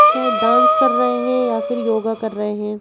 शायद डांस कर रहे हैं या फिर योगा कर रहे हैं।